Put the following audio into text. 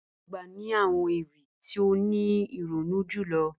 Iyà agbà ni àwọn ewi ti o ni ironu julọ